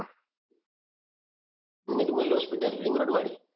નિર્મલ hospital ring road વાળી?